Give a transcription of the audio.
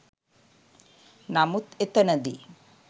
නමුත් එතනදී